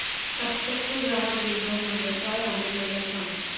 Aptech चा ग्राहक देखभाल नंबर काय आहे मला सांग